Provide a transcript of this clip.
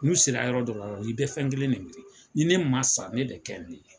N'u sera yɔrɔ dɔra dɔrɔn i bɛ fɛn kelen de miiri ni ne sa ne bɛ kɛ nin ye